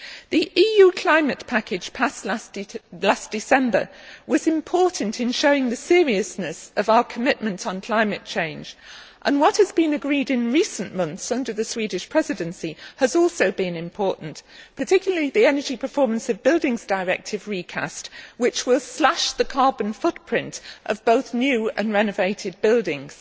The EU climate package passed in December 2008 was important in showing the seriousness of our commitment to climate change, and what has been agreed in recent months under the Swedish Presidency has also been important particularly the recast Energy Performance of Buildings Directive, which will slash the carbon footprint of both new and renovated buildings.